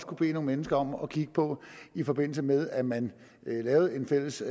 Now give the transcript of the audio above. kunne bede nogle mennesker om at kigge på i forbindelse med at man lavede en fælles